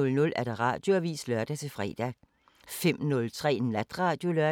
00:05: Natradio (lør-fre)